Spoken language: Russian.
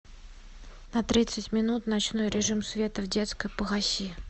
на тридцать минут ночной режим света в детской погаси